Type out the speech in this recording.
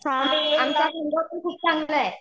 खूप चांगलं आहे.